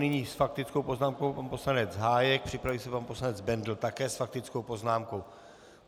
Nyní s faktickou poznámkou pan poslanec Hájek, připraví se pan poslanec Bendl, také s faktickou poznámkou.